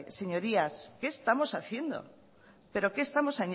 señorías qué estamos haciendo pero qué estamos